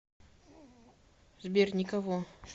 сбер никого